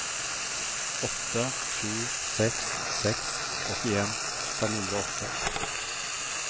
åtte sju seks seks åttien fem hundre og åtte